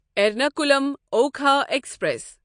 Ernakulam Okha express